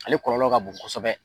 Ale kɔlɔlɔ ka bon kosɛbɛ